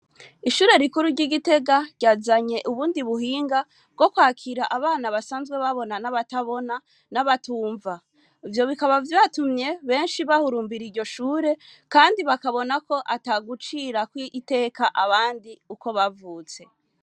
Ishure rikuru ry'i Gitega ryazanye ubundi buhinga bwo kwakira abana basanzwe babona n'abatabona n'abatumva. Ivyo bikaba vyatumye benshi bahurumbira iryo shure kandi bakabona ko atagucirakw'iteka abandi uko bavutse.